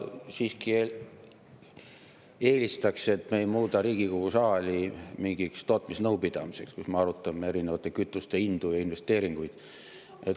Ma siiski eelistaks, et me ei muuda Riigikogu saali mingiks tootmisnõupidamiseks, kus me arutame erinevate kütuste hindu ja investeeringuid.